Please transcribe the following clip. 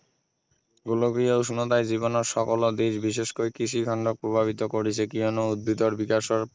গোলকীয় উষ্ণতাই জীৱনৰ সকলো দিশ বিশেষকৈ কৃষিখণ্ডক প্ৰভাৱিত কৰিছে কিয়নো উদ্ভিদৰ বিকাশৰ